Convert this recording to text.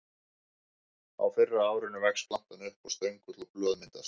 Á fyrra árinu vex plantan upp og stöngull og blöð myndast.